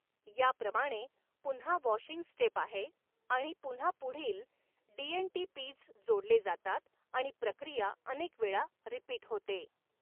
याप्रमाणे पुन्हा वॊशिंग स्टेपआहे आणि पुन्हा पुढील डी एन टी पीज जोडले जातात आणि प्रक्रिया अनेक वेळा रिपीट होते.